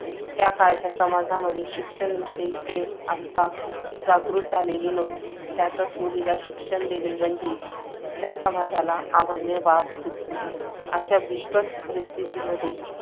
त्या काळच्या समाजामध्ये शिक्षणाविषयी प्रेम, आस्था व जागृती झालेली नव्हती. त्यातच मुलीला शिक्षण देणे म्हणजे त्या समाजाला अमान्य बाब होती. अशा बिकट परिस्थितीमध्ये